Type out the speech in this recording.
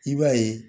I b'a ye